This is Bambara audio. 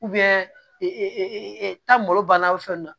tan malo banna o fɛn nunnu na